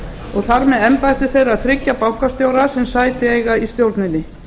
og þar með embætti þeirra þriggja bankastjóra sem sæti eiga í stjórninni